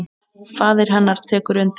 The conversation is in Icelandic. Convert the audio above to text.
Faðir hennar tekur undir.